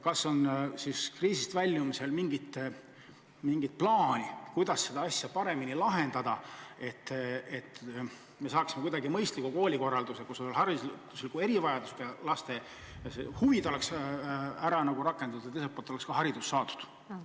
Kas on kriisist väljumisega seoses mingit plaani, kuidas seda asja paremini lahendada, et saaksime tagada sellise mõistliku koolikorralduse, kus hariduslike erivajadustega laste huve oleks arvestatud ja teiselt poolt ka haridus saadud?